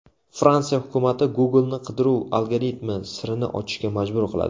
Fransiya hukumati Google’ni qidiruv algoritmi sirini ochishga majbur qiladi.